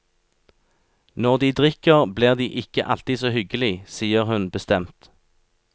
Når de drikker, blir de ikke alltid så hyggelig, sier hun bestemt.